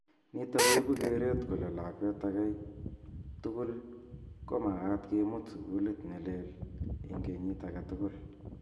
Nitok ko ipu keret kole lakwet agei tukul ko magat kimut sukulit nelel ing kenyit agei tugul.